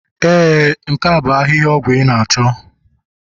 Ee nke a bu ahihia ọgwụ ị na-achọ